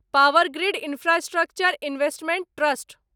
power grid Infrastructure Investment trust